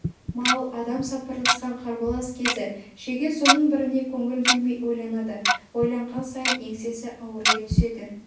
мал адам сапырылысқан қарбалас кезі шеге соның біріне көңіл бөлмей ойланады ойланған сайын еңсесі ауырлай түседі